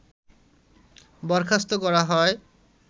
বরখাস্ত করা হয়